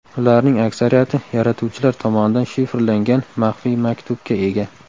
Ularning aksariyati yaratuvchilar tomonidan shifrlangan maxfiy maktubga ega.